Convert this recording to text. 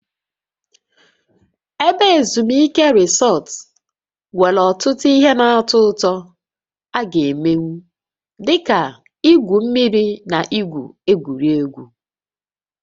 Ebe ezumike Resort nwere ọtụtụ ihe na-atọ ụtọ a gá emenwu, dị ka igwu mmiri na igwu egwuregwu